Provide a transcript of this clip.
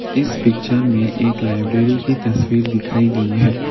इस पिक्चर में एक लाइब्रेरी की तस्वीर दिखाई गई है।